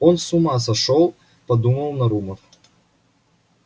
он с ума сошёл подумал нарумов